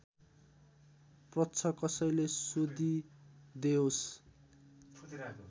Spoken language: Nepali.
प्रश्न कसैले सोधिदेओस्